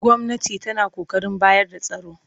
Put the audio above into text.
Gwamnati tana ƙoƙarin bayar da tsaro